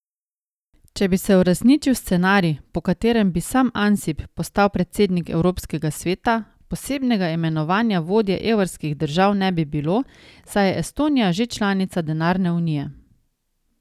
Če bi se uresničil scenarij, po katerem bi sam Ansip postal predsednik evropskega sveta, posebnega imenovanja vodje evrskih držav ne bi bilo, saj je Estonija že članica denarne unije.